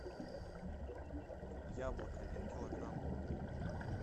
яблок один килограмм